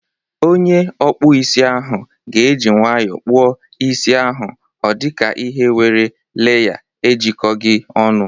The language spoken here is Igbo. Onye ọkpụ isi ahụ ga eji nwayọọ kpụọ isi ahụ odika ihe nwere leya ejikọghi ọnụ.